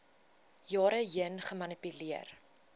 jare heen gemanipuleer